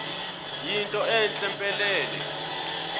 yinto entle mpelele